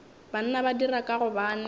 banna ba dira ka gobane